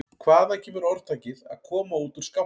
Hvaðan kemur orðtakið að koma út úr skápnum?